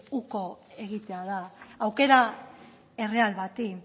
uko egitea da aukera erreal bati